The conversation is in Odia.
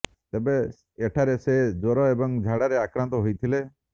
ତେବେ ଏଠାରେ ସେ ଜ୍ବର ଏବଂ ଝାଡ଼ାରେ ଆକ୍ରାନ୍ତ ହୋଇଥିଲେ